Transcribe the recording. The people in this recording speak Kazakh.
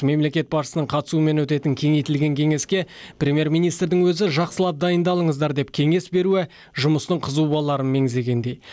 мемлекет басшысының қатысуымен өтетін кеңейтілген кеңеске премьер министрдің өзі жақсылап дайындалыңыздар деп кеңес беруі жұмыстың қызу боларын меңзегендей